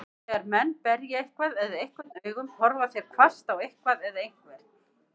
Þegar menn berja eitthvað eða einhvern augum, horfa þeir hvasst á eitthvað eða einhvern.